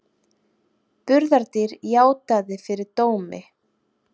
Burðardýr játaði fyrir dómi